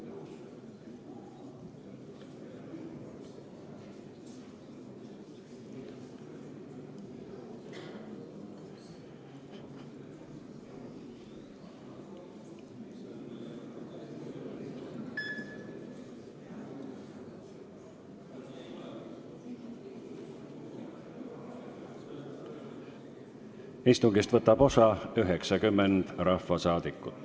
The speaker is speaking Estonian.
Kohaloleku kontroll Istungist võtab osa 90 rahvasaadikut.